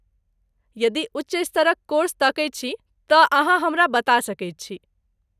यदि उच्च स्तरक कोर्स तकैत छी, तँ अहाँ हमरा बता सकैत छी।